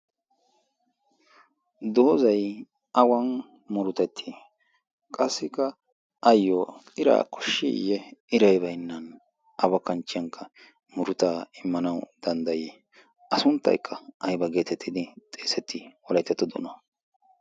doozzay awan murutetti? qassikka ayoo iraa koshshiiye iray baynnan awa kanchchiyan murtaa immanawu danddayii? a sunttaykka ayba geetetidi xeesetii wolayttato doonan?